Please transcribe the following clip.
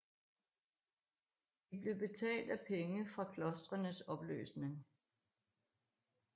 De blev betalt af penge fra klostrenes opløsning